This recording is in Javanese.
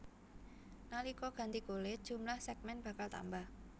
Nalika ganti kulit jumlah sègmèn bakal tambah